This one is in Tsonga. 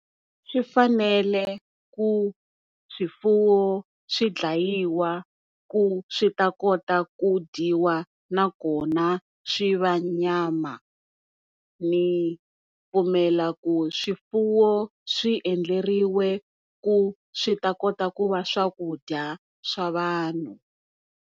Swi fanele ku swifuwo swi dlayiwa ku swi ta kota ku dyiwa na kona swi va nyama ni pfumela ku swifuwo swi endleriwe ku swi ta kota ku va swakudya swa vanhu.